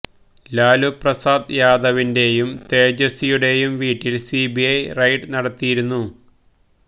ലാലു പ്രസാദ് യാദവിന്റെയും തേജസ്വിയുടെയും വീട്ടില് സിബിഐ റെയ്ഡ് നടത്തിയിരുന്നു